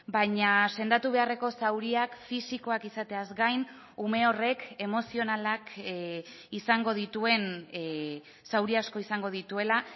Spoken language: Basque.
baina sendatu beharreko zauriak fisikoak izateaz gain ume horrek emozionalak izango dituen zauri asko izango dituela